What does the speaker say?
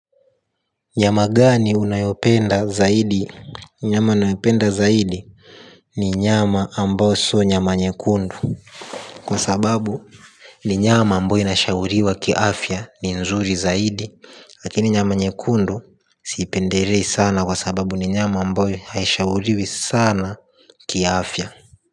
Nyama gani unayopenda zaidi? Nyama nayopenda zaidi. Ni nyama ambao si nyama nyekundu kwa sababu ni nyama ambayo inashauriwa kiafya. Ni nzuri zaidi. Lakini nyama nyekundu siipendelei sana kwa sababu ni nyama ambayo haishauriwi sana kiafya.